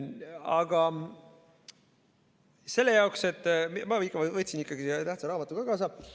Aga selle jaoks ma võtsin ikkagi selle tähtsa raamatu ka kaasa.